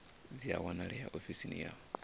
dzi a wanalea ofisini ya